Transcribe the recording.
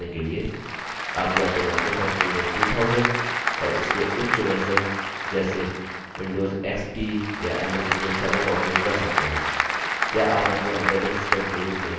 आप या तो microsoft windows 2000 और इसके उच्च versions जैसे windows xp या ms windows 7 का उपयोग कर सकते हैं या आप अपने operating system के रूप में gnu/linux का उपयोग कर सकते हैं